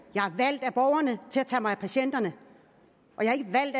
jeg tage mig af patienterne